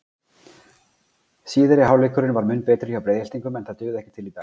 Síðari hálfleikurinn var mun betri hjá Breiðhyltingum en það dugði ekki til í dag.